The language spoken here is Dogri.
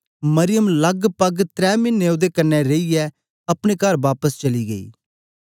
मरियम लगपग त्रै मिने ओदे कन्ने रेईयै अपने कर बापस चली गेई